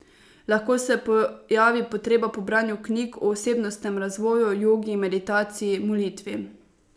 Lahko se pojavi potreba po branju knjig o osebnostnem razvoju, jogi, meditaciji, molitvi ...